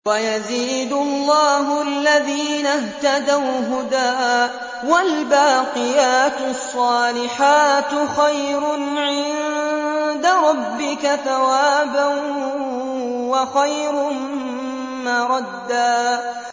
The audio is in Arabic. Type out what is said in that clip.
وَيَزِيدُ اللَّهُ الَّذِينَ اهْتَدَوْا هُدًى ۗ وَالْبَاقِيَاتُ الصَّالِحَاتُ خَيْرٌ عِندَ رَبِّكَ ثَوَابًا وَخَيْرٌ مَّرَدًّا